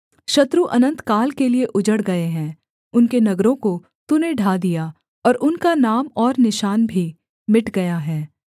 शत्रु अनन्तकाल के लिये उजड़ गए हैं उनके नगरों को तूने ढा दिया और उनका नाम और निशान भी मिट गया है